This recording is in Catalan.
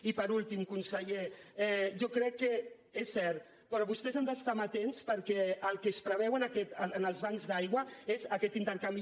i per últim conseller jo crec que és cert però vostès han d’estar amatents perquè el que es preveu en els bancs d’aigua és aquest intercanvi